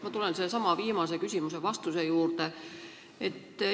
Ma tulen sellesama viimase küsimuse vastuse juurde.